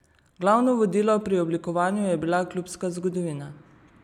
Glavno vodilo pri oblikovanju je bila klubska zgodovina.